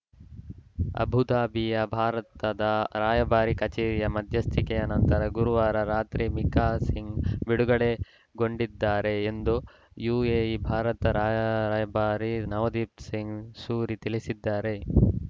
ಅಬುಧಾಬಿಯ ಭಾರತದ ರಾಯಭಾರ ಕಚೇರಿಯ ಮಧ್ಯಸ್ಥಿಕೆಯ ನಂತರ ಗುರುವಾರ ರಾತ್ರಿ ಮಿಕಾ ಸಿಂಗ್‌ ಬಿಡುಗಡೆಗೊಂಡಿದ್ದಾರೆ ಎಂದು ಯುಎಇ ಭಾರತದ ರಾಯ ರಾಯಭಾರಿ ನವದೀಪ್‌ ಸಿಂಗ್‌ ಸೂರಿ ತಿಳಿಸಿದ್ದಾರೆ